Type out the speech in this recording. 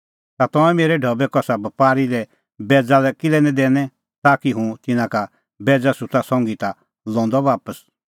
तै तंऐं मेरै ढबै कसा बपारी लै बैज़ा दी किल्है निं दैनै ताकि हुंह तिन्नां का बैज़ा सुत्ता संघी ता लंदअ बापस